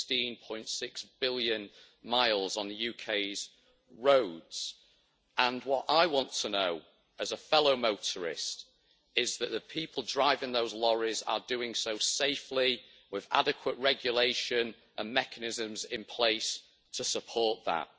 16.6 billion miles on the UK's roads and what I want to know as a fellow motorist is that the people driving those lorries are doing so safely, with adequate regulations and mechanisms in place to support that.